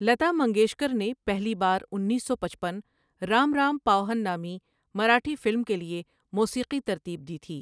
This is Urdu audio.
لتا منگیشکر نے پہلی بار انیس سو پچپن رام رام پاؤہن نامی مراٹھی فلم کے لیے موسیقی ترتیب دی تھی۔